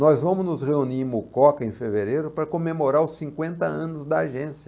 Nós vamos nos reunir em Mucoca em fevereiro para comemorar os cinquenta anos da agência.